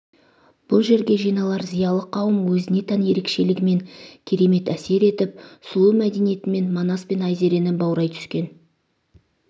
бұл жерге жиналар зиялы қауым өзіне тән ерекшелігімен керемет әсер етіп сұлу мәдениетімен манас пен айзерені баурай түскен